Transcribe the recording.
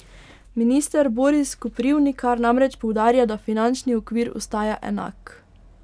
Minister Boris Koprivnikar namreč poudarja, da finančni okvir ostaja enak.